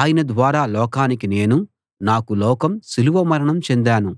ఆయన ద్వారా లోకానికి నేనూ నాకు లోకం సిలువ మరణం చెందాను